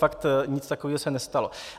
Fakt, nic takového se nestalo.